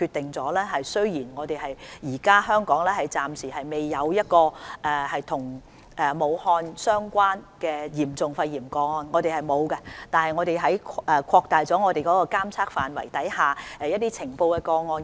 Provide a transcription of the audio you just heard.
雖然香港暫時仍未有任何與武漢肺炎相關的嚴重個案——香港是沒有的——但我們很快便決定擴大監測範圍，而且每天通報已呈報的個案數字。